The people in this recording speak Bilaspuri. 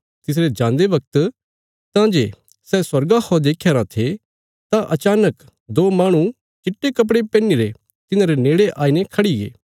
तिसरे जान्दे बगत तां जे सै स्वर्गा खौ देख्यारा थे तां अचानक दो माहणु चिट्टे कपड़े पैहनीरे तिन्हांरे नेड़े आईने खड़ीगे